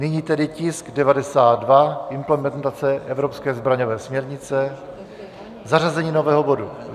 Nyní tedy tisk 92, implementace evropské zbraňové směrnice, zařazení nového bodu.